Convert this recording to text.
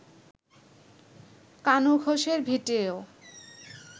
কানু ঘোষের ভিটেয়